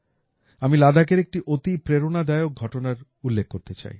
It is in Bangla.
আমি লাদাখের একটি অতি প্রেরণাদায়ক ঘটনার উল্লেখ করতে চাই